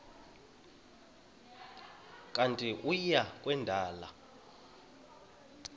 kanti uia kwendela